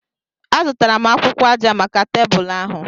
Azụtara m akwụkwọ aja maka tebụl ahu.